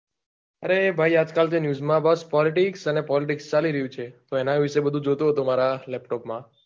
અરે ભાઈ આજકાલ જે news માં politics અને politics ચાલી રહ્યું છે તો એના વિષે બધુ જોતો હતો મારા laptop માં